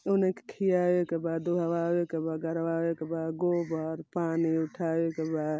उन्हनी के खियावेकेबा दुहवावेकेबा गरवावेकेबा गोबर पानी उठाये के बा।